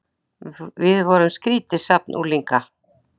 Við vorum skrýtið safn unglinga.